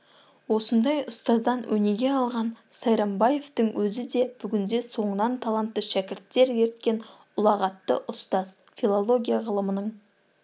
осындай ұстаздан өнеге алған сайрамбаевтың өзі де бүгінде соңынан таланты шәкірттер ерткен ұлағатты ұстаз филология ғылымының